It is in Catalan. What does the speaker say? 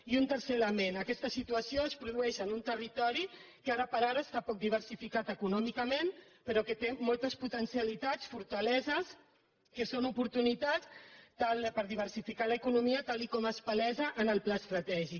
i un tercer element aquesta situació es produeix en un territori que ara per ara està poc diversificat econòmicament però que té moltes potencialitats fortaleses que són oportunitats per diversificar l’economia tal com es palesa en el pla estratègic